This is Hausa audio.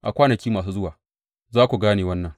A kwanaki masu zuwa za ku gane wannan.